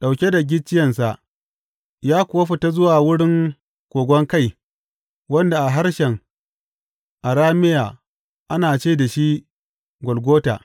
Ɗauke da gicciyensa, ya kuwa fita zuwa wurin Ƙoƙon Kai wanda a harshen Arameya ana ce da shi Golgota.